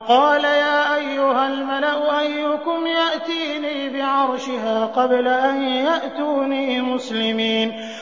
قَالَ يَا أَيُّهَا الْمَلَأُ أَيُّكُمْ يَأْتِينِي بِعَرْشِهَا قَبْلَ أَن يَأْتُونِي مُسْلِمِينَ